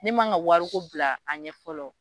Ne mangan ka wari ko bila a ɲɛ fɔlɔ.